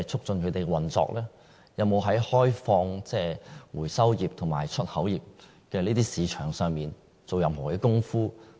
政府有否在開放回收業和出口業市場上做過任何工夫？